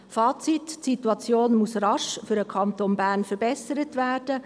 Fazit: Die Situation muss für den Kanton Bern rasch verbessert werden.